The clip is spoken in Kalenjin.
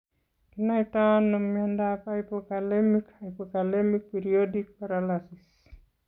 Kinaitoi ano miondap hypokalemic hypokalemic periodic paralysis?